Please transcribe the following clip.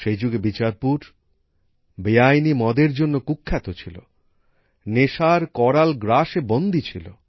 সেই যুগে বিচারপুর বেআইনি মদের জন্য কুখ্যাত ছিল নেশার করাল গ্রাসে বন্দি ছিল